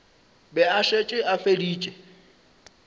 be a šetše a feditše